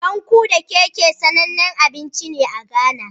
Bankeu da kekhe, sanannen abinci ne a Ghana.